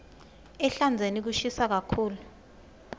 ehlandzeni kushisa kakhulu